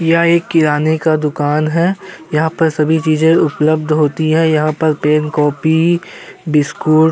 यह एक किराने का दुकान है। यहाँ पर सभी चीजे उपलब्ध होती है। यहाँ पर पेन कॉपी बिस्कुट ।